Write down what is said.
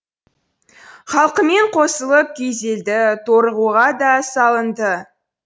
халқымен қосылып күйзелді торығуға да салынды